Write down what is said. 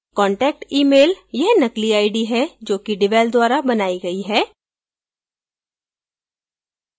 contact emailयह नकली ID है जो कि devel द्वारा बनाई गई है